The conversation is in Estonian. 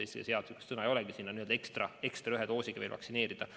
Eesti keeles selle kohta sõna ei olegi, aga see on vajadus ekstra ühe doosiga veel vaktsineerida.